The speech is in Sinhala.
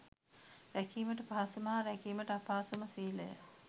රැකීමට පහසුම හා රැකීමට අපහසු ම සීලය